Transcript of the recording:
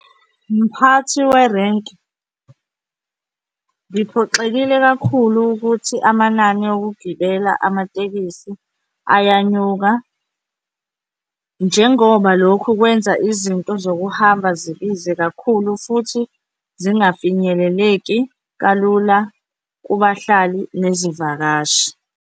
Mphathi werenki, ngiphoxekile kakhulu ukuthi amanani okugibela amatekisi ayanyuka njengoba lokhu kwenza izinto zokuhamba zibize kakhulu futhi zingafinyeleleki kalula kubahlali nezivakashi.